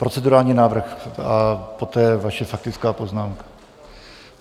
Procedurální návrh a poté vaše faktická poznámka.